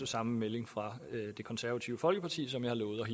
samme melding fra det konservative folkeparti som